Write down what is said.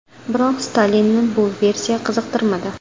Biroq Stalinni bu versiya qiziqtirmadi.